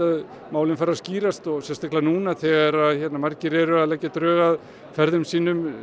málin fari að skýrast sérstaklega núna þegar margir eru að leggja drög að ferðum sínum